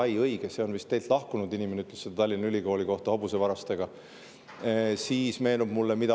Ai, õige, seda vist ütles teie lahkunud inimene, et Tallinna Ülikoolis hobusevargaid.